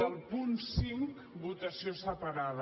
del punt cinc votació separada